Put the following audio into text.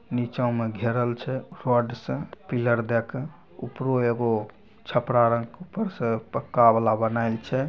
निचो में घेरल छै से पिलर दे के उपरो एगो छपरा दाल के ऊपर से पक्का वाला बनाएल छै |